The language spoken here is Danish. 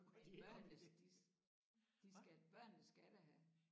Men børnene de de skal børnene skal da have